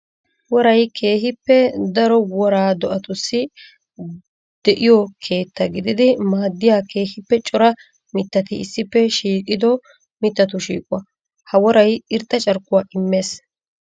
woray keehippe daro wora do'attussi de'iyo keetta gididi maadiya keehippe cora mittati issippe shiiqido mittatu shiiquwa. Ha woray irxxa carkkuwa imees.